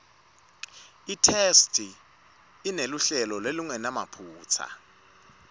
itheksthi ineluhlelo lolungenamaphutsa